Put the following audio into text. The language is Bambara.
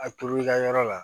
A turu i ka yɔrɔ la